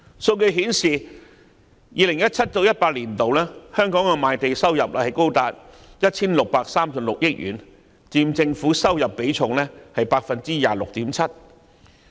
數據顯示 ，2017-2018 年度，香港的賣地收入高達 1,636 億元，佔政府收入比重 26.7%。